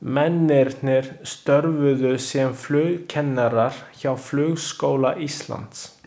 Mennirnir störfuðu sem flugkennarar hjá Flugskóla Íslands.